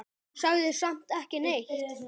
Sagði samt ekki neitt.